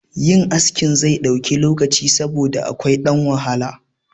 Yin askin zai ɗauki lokaci saboda akwai ɗan wahala